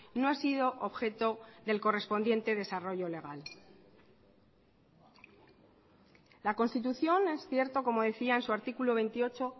no ha sido objeto del correspondiente desarrollo legal la constitución es cierto como decía en su artículo veintiocho